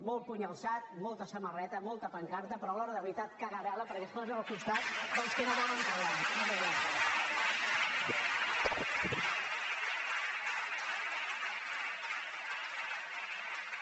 molt puny alçat molta samarreta molta pancarta però a l’hora de la veritat cagarel·la perquè es posen al costat dels que no volen parlar